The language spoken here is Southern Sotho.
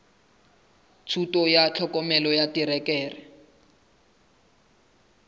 thuto ya tlhokomelo ya terekere